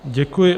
Děkuji.